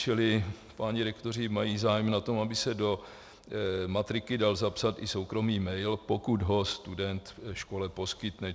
Čili páni rektoři mají zájem na tom, aby se do matriky dal zapsat i soukromý mail, pokud ho student škole poskytne.